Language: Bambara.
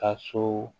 Ka so